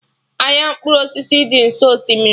Ahịa mkpụrụ osisi dị nso osimiri